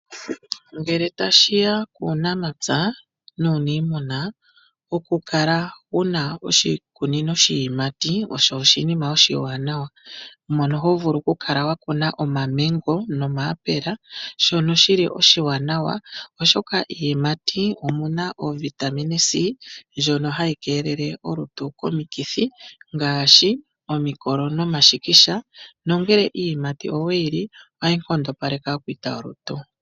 Ngele tashiya kUunamapya nuunIimuna, oku kala wuna oshikunino shiiyimati osho oshinima oshiwanawa, mono ho vulu okukala wa kuna omaMango nOmayapula shono shili oshiwanawa, oshoka miiyimati omuna ovitamin C ndjoka hayi keelele omuntu komikithi ngaashi omikolo nomashikisha, nongele iiyimati owe yi li , ohayi nkondopaleke aakwiita yolutu.